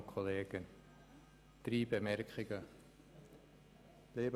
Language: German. Ich möchte drei Bemerkungen anbringen.